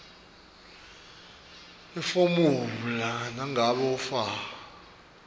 iformulae nangabe ufaka